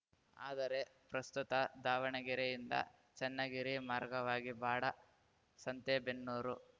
ಆದರೆ ಪ್ರಸ್ತುತ ದಾವಣಗೆರೆ ಯಿಂದ ಚನ್ನಗಿರಿ ಮಾರ್ಗವಾಗಿ ಬಾಡ ಸಂತೆಬೆನ್ನೂರು